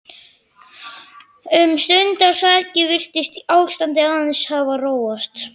Um stundarsakir virtist ástandið aðeins hafa róast.